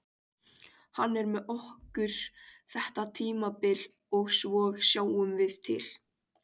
Hann er með okkur þetta tímabil og svo sjáum við til.